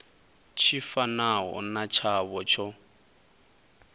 tshi fanaho na tshavho tsho